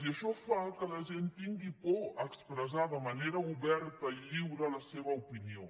i això fa que la gent tingui por d’expressar de manera oberta i lliure la seva opinió